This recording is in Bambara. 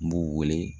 N b'u wele